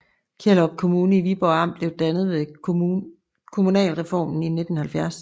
Kjellerup Kommune i Viborg Amt blev dannet ved kommunalreformen i 1970